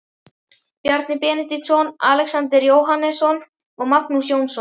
Bjarni Benediktsson, Alexander Jóhannesson og Magnús Jónsson.